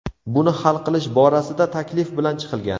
Buni hal qilish borasida taklif bilan chiqilgan.